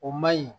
O man ɲi